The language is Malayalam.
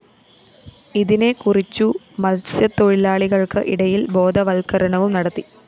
ഇതിനെ കുറിച്ചു മത്‌സ്യ തൊഴിലാളികള്‍ക്ക് ഇടയില്‍ ബോധവത്ക്കരണവും നടത്തി